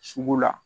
Sugu la